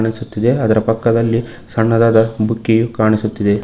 ಕಾಣಿಸುತ್ತಿದೆ ಅದರ ಪಕ್ಕದಲ್ಲಿ ಸಣ್ಣದಾದ ಬುಕ್ಕಿಯು ಕಾಣಿಸುತ್ತಿದೆ.